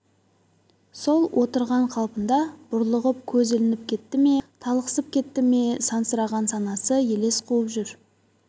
сол отырған қалпында бұрлығып көз ілініп кетті ме талықсып кетті ме сансыраған санасы елес қуып жүр